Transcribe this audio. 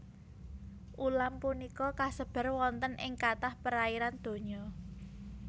Ulam punika kasebar wonten ing kathah perairan donya